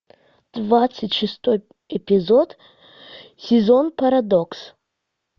двадцать шестой эпизод сезон парадокс